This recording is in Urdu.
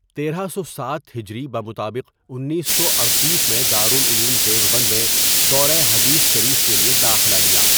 تیرہ سو سات هجری بمطابق انیسو اڑتیس میں دارالعلوم دیوبند میں دورہ حدیث شریف کے لئے داخلہ لیا.